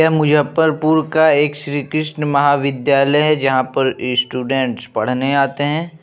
ये मुजफ्फरपुर का एक श्री कृष्णा महाविद्यालय है जहाँ पर स्टूडेंट पढ़ने आते हैं।